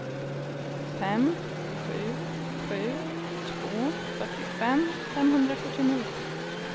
fem sju sju två fyrtiofem femhundrasjuttionio